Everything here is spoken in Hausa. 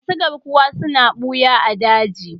Masu garkuwa suna ɓuya a daji.